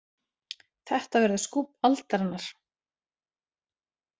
Þetta verður skúbb aldarinnar